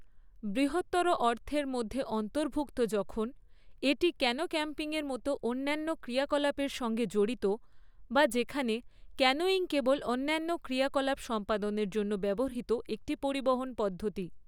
বৃহত্তর অর্থের মধ্যে অন্তর্ভুক্ত যখন, এটি ক্যানো ক্যাম্পিংয়ের মতো অন্যান্য ক্রিয়াকলাপের সঙ্গে জড়িত, বা যেখানে ক্যানোয়িং কেবল অন্যান্য ক্রিয়াকলাপ সম্পাদনের জন্য ব্যবহৃত একটি পরিবহন পদ্ধতি।